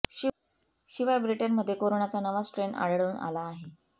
शिवाय ब्रिटनमध्ये कोरोनाचा नवा स्ट्रेन आढळून आला आहे